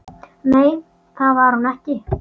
Nei, það var hún ekki.